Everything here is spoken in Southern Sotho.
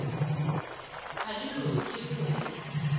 ha di loke ho ya